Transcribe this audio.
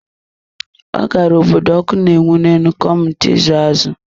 Ọ gara obodo ọkụ na-enwu ne enu ka ọmụta ịza azụ̀.